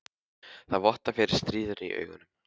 Það vottar fyrir stríðni í augunum.